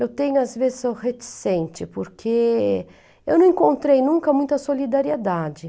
Eu tenho, às vezes, sou reticente, porque eu não encontrei nunca muita solidariedade.